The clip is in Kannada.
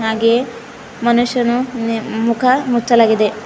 ಹಾಗೆ ಮನುಷ್ಯನು ನೇ ಮುಖ ಮುಚ್ಚಲಾಗಿದೆ.